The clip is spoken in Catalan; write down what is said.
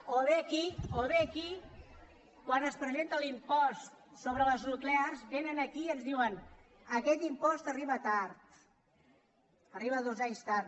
o quan es presenta l’impost sobre les nuclears vénen aquí i ens diuen aquest impost arriba tard arriba dos anys tard